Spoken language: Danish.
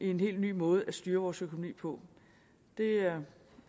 en helt ny måde at styre vores økonomi på det er